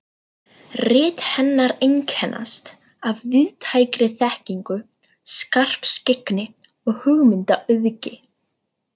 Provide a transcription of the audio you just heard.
Rit hennar einkennast af víðtækri þekkingu, skarpskyggni og hugmyndaauðgi.